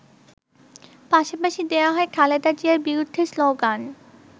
পাশাপাশি দেয়া হয় খালেদা জিয়ার বিরুদ্ধে শ্লোগান।